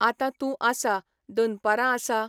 आतां तूं आसा, दनपारां आसा